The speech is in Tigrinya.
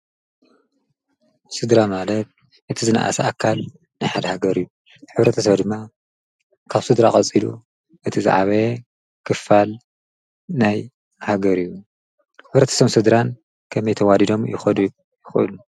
ስድራ ማለት እቲ ዝነኣሰ ኣካል ናይ ሓደ ሃገር እዩ ሕብረተሰብ ድማ ካብስድራ ቐፂሉ እቲ ዝዓበየ ክፋል ናይ ሃገር እዩ ሕብረተሰብን ስድራን ከመይ ተዋዲዶም ክከዱ ይክእሉ?